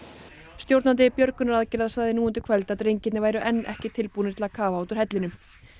stjórnandi björgunaraðgerða sagði nú undir kvöld að drengirnir væru enn ekki tilbúnir til að kafa út úr hellinum